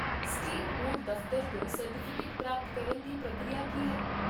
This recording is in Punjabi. ਸਟੇਟ ਬੋਰਡ ਦਫਤਰ ਤੋਂ ਸਰਟੀਫਿਕੇਟ ਪ੍ਰਾਪਤ ਕਰਨ ਦੀ ਪ੍ਰਕਿਰਿਆ ਕੀ ਹੈ?